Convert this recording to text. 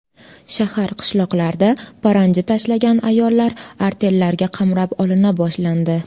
Shahar-qishloqlarda paranji tashlagan ayollar artellarga qamrab olina boshlandi.